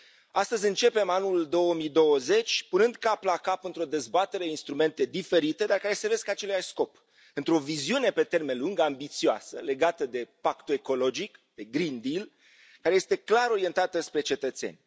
Astăzi începem anul 2020 punând cap la cap, într o dezbatere, instrumente diferite, dar care servesc aceluiași scop, pentru o viziune pe termen lung, ambițioasă, legată de pactul ecologic, de care este clar orientată spre cetățeni.